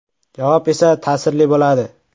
“Javob esa ta’sirli bo‘ladi.